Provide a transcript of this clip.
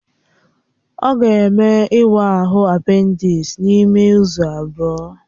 Ọ ga-eme ịwa ahụ apendisi n'ime izu abụọ